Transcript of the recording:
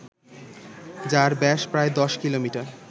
যার ব্যাস প্রায় ১০ কিলোমিটার